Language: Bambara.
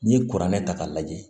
N'i ye kuranɛ ta k'a lajɛ